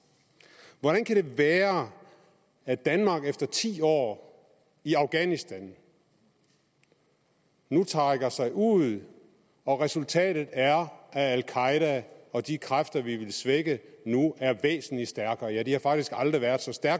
hvordan kan det være at danmark efter ti år i afghanistan nu trækker sig ud og at resultatet er at al qaeda og de kræfter vi ville svække nu er væsentlig stærkere ja de har faktisk aldrig været så stærke